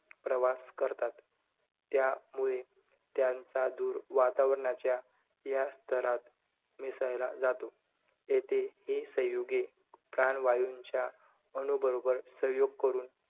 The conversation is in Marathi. प्रवास करतात. त्यामुळे, त्यांचा धुर वातावरणाच्या या स्तरात मिसळला जातो. येथे ही संयुगे प्राणवायूच्या अणुबरोबर संयोग करून,